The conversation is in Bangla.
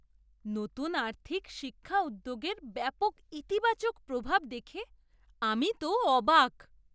নতুন আর্থিক শিক্ষা উদ্যোগের ব্যাপক ইতিবাচক প্রভাব দেখে আমি তো অবাক!